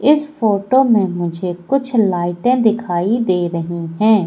इस फोटो में मुझे कुछ लाइटें दिखाई दे रही हैं।